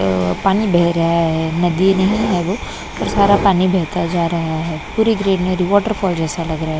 पानी बेह रहा है नदी नहीं है वो पर सारा पानी बेहता जा रहा है पूरी ग्रीनरी वॉटरफॉल जैसा लग रा हैं।